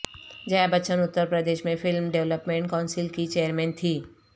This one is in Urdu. جیہ بچن اتر پردیش میں فلم ڈیویلپمنٹ کونسل کی چیئرمین تھیں